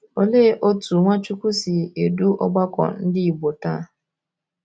Olee otú Nwachukwu si edu ọgbakọ Ndị Igbo taa?